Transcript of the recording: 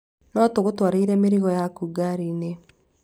No tũgũtwarĩre mĩrigo yaku ngaari-inĩ?